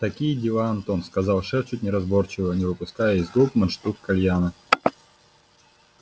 такие дела антон сказал шеф чуть неразборчиво не выпуская из губ мундштук кальяна